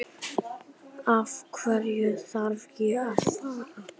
Af hverju þarf ég að fara?